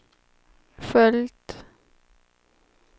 följt